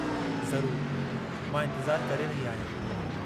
ज़रूरु! मां इंतिज़ारु करे रही आहियां।